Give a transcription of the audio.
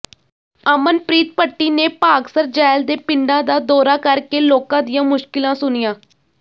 ਅਮਨਪ੍ਰੀਤ ਭੱਟੀ ਨੇ ਭਾਗਸਰ ਜ਼ੈਲ ਦੇ ਪਿੰਡਾਂ ਦਾ ਦੌਰਾ ਕਰਕੇ ਲੋਕਾਂ ਦੀਆਂ ਮੁਸ਼ਕਿਲਾਂ ਸੁਣੀਆਂ